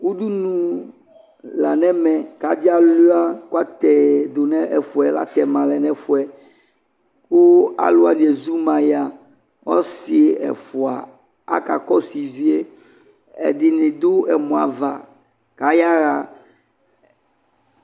Udunu la nɛmɛ ka ade alua kua tɛdo nɛfuɛ, atɛma nɛfuɛ ko alu wane ezuma ya Ɔse ɛfua aka kɔso ivie Ɛdene do ɛmɔ ava ka yaha